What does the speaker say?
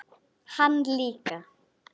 Án þess að fella tár.